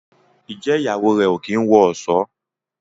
Njé Ìyàwó rẹ o kín wọ ọṣọ?